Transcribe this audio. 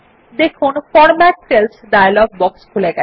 দেখুন format cells dialog box খুলে গেছে